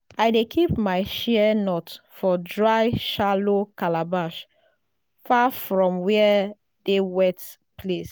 dey keep my shea nuts for dry shallow calabash far from where dey wet place.